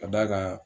Ka d'a kan